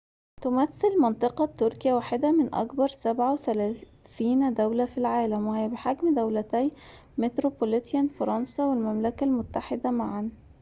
تمثل منطقة تركيا واحدة من أكبر 37 دولة في العالم وهي بحجم دولتي متروبوليتان فرنسا والمملكة المتحدة معاً